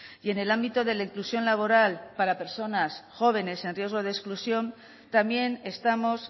y en el ámbito de la inclusión laboral para personas jóvenes en riesgo de exclusión también estamos